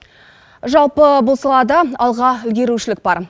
жалпы бұл салады алға ілгерушілік бар